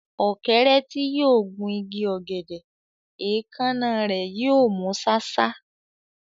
Ọ̀kẹ́rẹ́ tí yóò gun igi ọ̀gẹ̀dẹ̀, èékánná rẹ̀ yóò mú ṣáṣá.